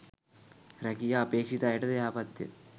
රැකියා අපේක්ෂිත අයටද යහපත්ය.